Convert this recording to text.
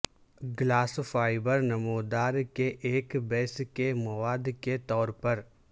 glass fibre نمودار کے ایک بیس کے مواد کے طور پر